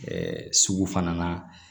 sugu fana na